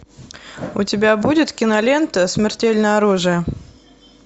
у тебя будет кинолента смертельное оружие